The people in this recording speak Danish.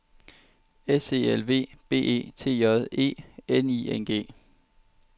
S E L V B E T J E N I N G